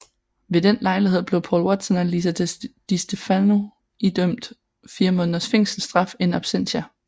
Ved den lejlighed blev Paul Watson og Lisa Distefano idømt fire måneders fængselsstraf in absentia